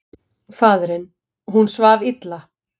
Faðirinn: Hún svaf illa.